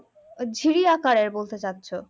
ঝিরি আকারের বলতে চাচ্ছো